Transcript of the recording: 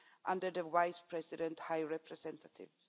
under the Vice President High Representative.